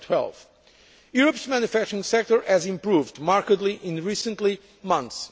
in 2012. Europe's manufacturing sector has improved markedly in recent months.